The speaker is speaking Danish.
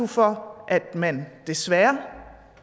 for at man desværre